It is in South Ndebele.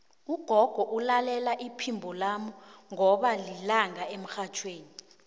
ugogo ulalela iphimbo lami qobe lilanga emrhatjhweni